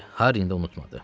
Harrini də unutmadı.